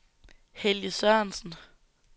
Helge Sørensen